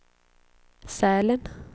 Sälen